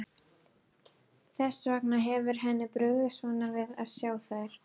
Þess vegna hefur henni brugðið svona við að sjá þær.